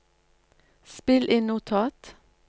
spill inn notat